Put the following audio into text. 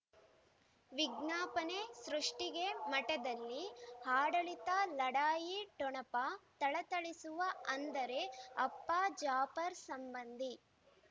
ವಿಜ್ಞಾಪನೆ ಸೃಷ್ಟಿಗೆ ಮಠದಲ್ಲಿ ಆಡಳಿತ ಲಢಾಯಿ ಠೊಣಪ ಥಳಥಳಿಸುವ ಅಂದರೆ ಅಪ್ಪ ಜಾಪರ್ ಸಂಬಂಧಿ